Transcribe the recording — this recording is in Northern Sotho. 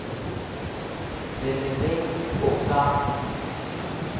re le ge o ka